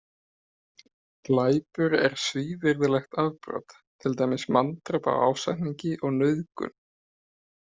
Glæpur er svívirðilegt afbrot, til dæmis manndráp af ásetningi og nauðgun.